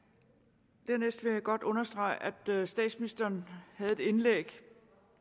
dernæst vil jeg godt understrege at statsministeren havde et indlæg